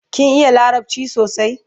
kin iya larabci sosai?